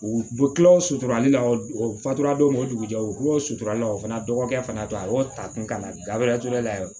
U bɛ kila o suturali la o fatura don o dugujɛ u bɛ kibaruw suturala o fana dɔgɔkɛ fana to aw ta kun ka na gaban ture la yɛrɛ